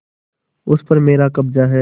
उस पर मेरा कब्जा है